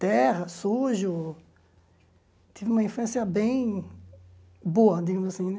Terra, sujo, tive uma infância bem boa, digamos assim, né?